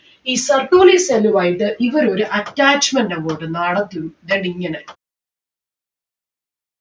ഈ Sertoli cell ഉമായിട്ട് ഇവരൊരു attachment അങ്ങോട്ട് നടത്തും ദാ ഇങ്ങനെ